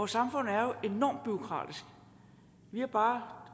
samfund er jo enormt bureaukratisk vi har bare